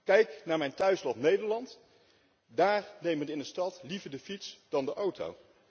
Kijk naar mijn thuisland, Nederland, daar nemen we in de stad liever de fiets dan de auto.